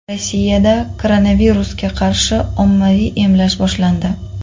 Rossiyada koronavirusga qarshi ommaviy emlash boshlandi.